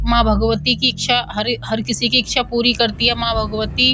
माँ भगवती की इच्छा हर किसी की इच्छा पूरी करती है माँ भगवती --